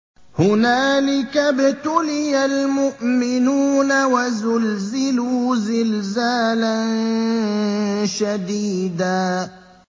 هُنَالِكَ ابْتُلِيَ الْمُؤْمِنُونَ وَزُلْزِلُوا زِلْزَالًا شَدِيدًا